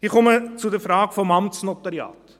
Ich komme zur Frage des Amtsnotariats: